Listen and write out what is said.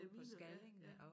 Øh miner ja ja